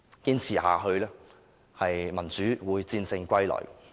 堅持下去的話，民主會戰勝歸來。